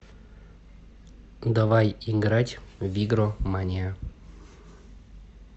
давай играть в игромания